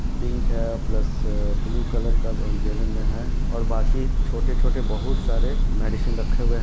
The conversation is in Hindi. पिक है प्लस ब्लू कलर का गैलन में है और बाकी छोटे-छोटे बहुत सारे मेडिसिन रखे हुए हैं।